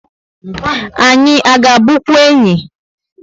Anyị a ga bunkwu enyị?